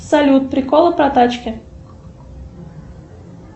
салют приколы про тачки